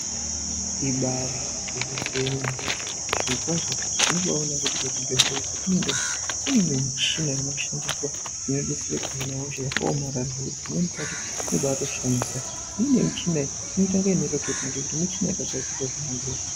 Ibari gwinyiso yemene zviro kwazvo tinobaone kuti kusvibhedhlera kwatinoenda kune imwe michina inoshandiswa inodetsere kuhina hosha yakaomara pamweni pacho inobatoshamisa imweni michina inoita ingayakarepota ngekuti muchina yakagadzirirwa zvemadhu.